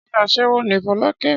Ṣé aṣẹ́wó ni Fọlákẹ́?